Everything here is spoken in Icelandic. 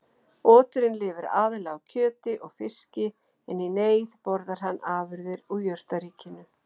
Oturinn lifir aðallega á kjöti og fiski en í neyð borðar hann afurðir úr jurtaríkinu.